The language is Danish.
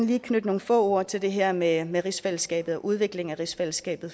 lige knytte nogle få ord til det her med her med rigsfællesskabet og udviklingen af rigsfællesskabet